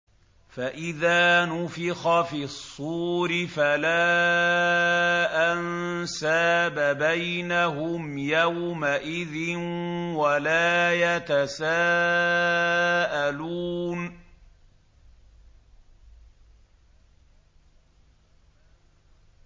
فَإِذَا نُفِخَ فِي الصُّورِ فَلَا أَنسَابَ بَيْنَهُمْ يَوْمَئِذٍ وَلَا يَتَسَاءَلُونَ